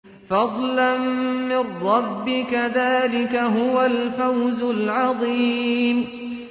فَضْلًا مِّن رَّبِّكَ ۚ ذَٰلِكَ هُوَ الْفَوْزُ الْعَظِيمُ